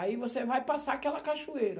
Aí, você vai passar aquela cachoeira.